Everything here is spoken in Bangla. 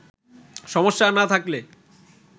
সমস্যা না থাকলে